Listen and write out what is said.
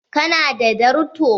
Ka na da darto?